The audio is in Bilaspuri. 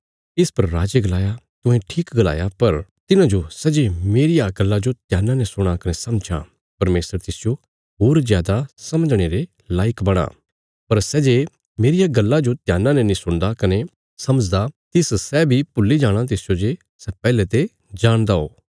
इस पर राजे गलाया तुहें ठीक गलाया पर तिन्हाजो सै जे मेरिया गल्ला जो ध्याना ने सुणा कने समझां परमेशर तिसजो होर जादा समझणे रे लायक बणां पर सै जे मेरिया गल्ला जो ध्याना ने नीं सुणदा कने समझदा तिस सै बी भुल्ली जाणा तिसजो जे सै पैहले ते जाणदा हो